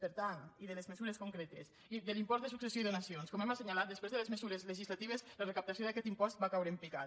per tant i de les mesures concretes de l’impost de successió i donacions com hem assenyalat després de les mesures legislatives la recaptació d’aquest impost va caure en picat